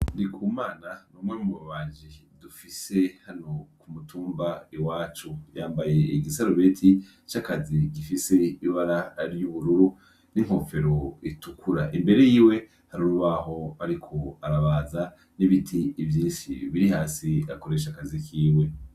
Ndikumana ni umwe mu babaji dufise hano ku mutumba iwacu. Yambaye igisarubete c'akazi gifise ibara ry'ubururu n'inkofero itukura. Imbere yiwe hari urubaho ariko arabaza n'ibiti vyinshi biri hasi akoresha akazi kiwe.